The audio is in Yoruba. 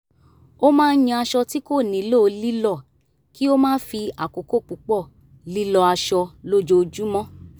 ó máa ń yan aṣọ tí kò nílò lílọ́ kí ó má fi àkókò púpọ̀ lílọ́ aṣọ lójoojúmọ́